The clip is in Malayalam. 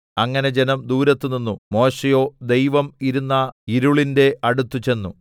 അങ്ങനെ ജനം ദൂരത്ത് നിന്നു മോശെയോ ദൈവം ഇരുന്ന ഇരുളിന്റെ അടുത്തുചെന്നു